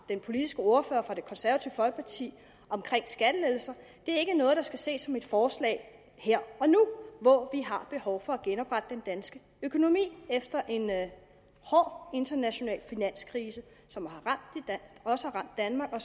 den politiske ordfører fra det konservative folkeparti om skattelettelser ikke er noget der skal ses som et forslag her og nu hvor vi har behov for at genoprette den danske økonomi efter en hård international finanskrise som også har ramt danmark og